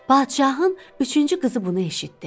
Padşahın üçüncü qızı bunu eşitdi.